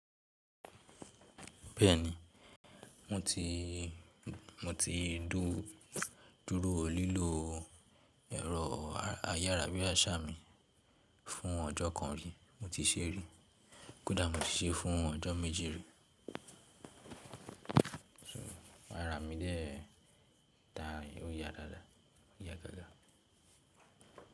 Bẹ́ẹ̀ni mo ti dúró lílo ẹ̀rọ ayárabíàṣá mi fún ọjọ́ kan rí, mo ti ṣé rí. Kódà mo ti ṣe fún ọjọ́ méje rí. Ara mi dẹ ta ó ya dáadáa, ó ya gágá.